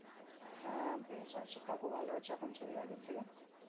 হ্যাঁ বেশ ভালো আছি কাকু ভালোআছে এখন শরীর আগের থেকে